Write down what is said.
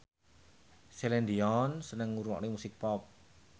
Celine Dion seneng ngrungokne musik pop